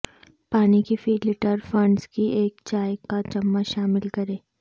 پانی کی فی لیٹر فنڈز کی ایک چائے کا چمچ شامل کریں